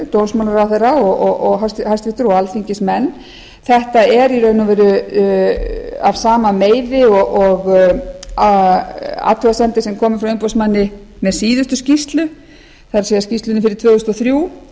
dómsmálaráðherra hæstvirtur og alþingismenn þetta er í raun og veru af sama meiði og athugasemdir sem komu frá umboðsmanni með síðustu skýrslu það er skýrslunni fyrir tvö þúsund og þrjú